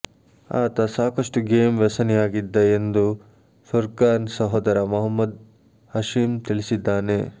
ಆತ ಸಾಕಷ್ಟು ಗೇಮ್ ವ್ಯಸನಿಯಾಗಿದ್ದ ಎಂದು ಫುರ್ಕಾನ್ ಸೋದರ ಮೊಹಮ್ಮದ್ ಹಷೀಮ್ ತಿಳಿಸಿದ್ದಾನೆ